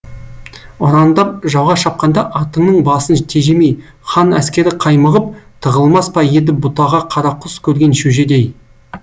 ұрандап жауға шапқанда атыңның басын тежемей хан әскері қаймығып тығылмас па еді бұтаға қарақұс көрген шөжедей